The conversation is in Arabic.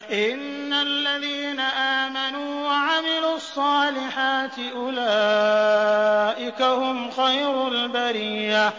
إِنَّ الَّذِينَ آمَنُوا وَعَمِلُوا الصَّالِحَاتِ أُولَٰئِكَ هُمْ خَيْرُ الْبَرِيَّةِ